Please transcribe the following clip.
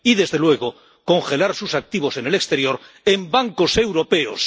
Y, desde luego, congelar sus activos en el exterior —¡en bancos europeos!—,